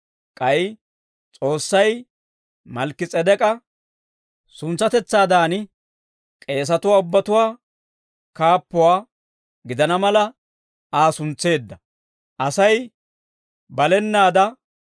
K'ay S'oossay Malkki-S'edek'k'a suntsatetsaadan, k'eesatuwaa ubbatuwaa kaappuwaa gidana mala, Aa suntseedda.